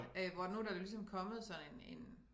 Hvor nu der ligesom kommet sådan en en